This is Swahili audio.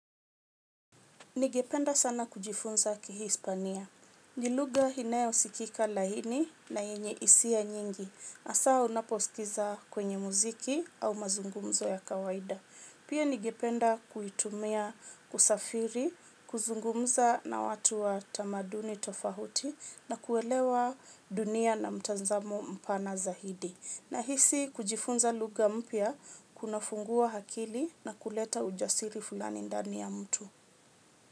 Nigependa sana kujifunza kihispania. Ni lugha inayosikika lahini na yenye isia nyingi. Asaa unaposikiza kwenye muziki au mazungumzo ya kawaida. Pia nigependa kuitumia kusafiri, kuzungumza na watu wa tamaduni tofahuti na kuelewa dunia na mtanzamo mpana zahidi. Nahisi kujifunza lugha mpya, kunafungua hakili na kuleta ujasiri fulani ndani ya mtu.